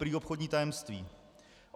Prý obchodní tajemství.